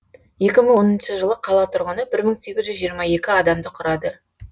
екі мың оныншы жылы қала тұрғыны бір мың сегіз жүз жиырма екі адамды құрады